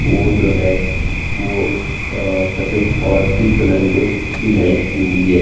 वो जो है। वो आ सफ़ेद और पीक रंग में डिजाइन की हुई है।